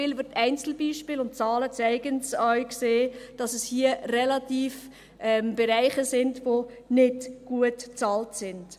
Denn wir sehen – Einzelbeispiele und Zahlen zeigen es –, dass es hier Bereiche sind, die nicht gut bezahlt sind.